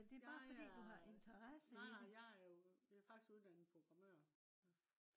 jeg er nej nej jeg er jo øh faktisk uddannet programmør